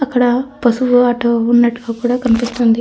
అక్కడ పసుపు ఆటో ఉన్నట్టుగా కూడా కనిపిస్తుంది.